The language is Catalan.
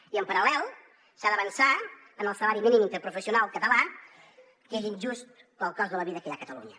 i en paral·lel s’ha d’avançar en el salari mínim interprofessional català que és injust pel cost de la vida que hi ha a catalunya